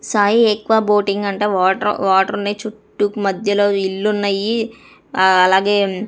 సాయి ఎక్కువా బోటింగ్ అంట water water ఉన్నాయి చుట్టూ మధ్యలో ఇల్లు ఉన్నాయి ఆ అలాగే.